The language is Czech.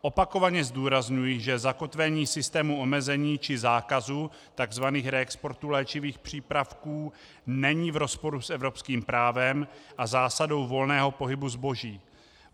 Opakovaně zdůrazňuji, že zakotvení systému omezení či zákazu tzv. reexportů léčivých přípravků není v rozporu s evropským právem a zásadou volného pohybu zboží.